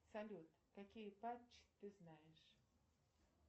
салют какие патчи ты знаешь